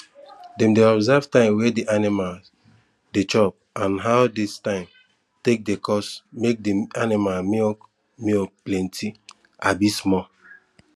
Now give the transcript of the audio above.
dem dey observe time wey di animals dey chop and how dis time take dey cause make di aninimal milk milk plenti abi small